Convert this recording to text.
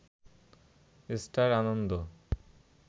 star Ananda